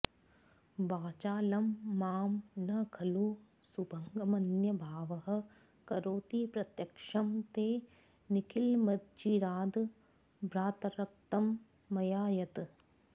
वाचालं मां न खलु सुभगंमन्यभावः करोति प्रत्यक्षं ते निखिलमचिराद् भ्रातरुक्तं मया यत्